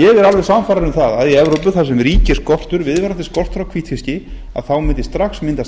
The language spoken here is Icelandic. ég er alveg sannfærður um það að í evrópu þar sem ríkir viðvarandi skortur á hvítfiski þá mundi strax myndast